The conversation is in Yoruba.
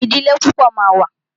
Ìdílé púpọ̀ ma wà.